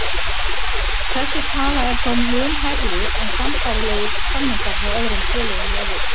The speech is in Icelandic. Þessi tala er þó mun hærri en sambærilegir samningar hjá öðrum félögum í Evrópu.